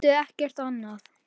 Átti ekkert annað.